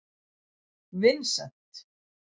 Vincent